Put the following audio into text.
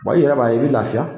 i yɛrɛ b'a i bɛ lafiya